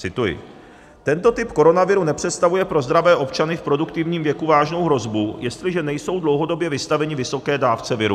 Cituji: "Tento typ koronaviru nepředstavuje pro zdravé občany v produktivním věku vážnou hrozbu, jestliže nejsou dlouhodobě vystaveni vysoké dávce viru.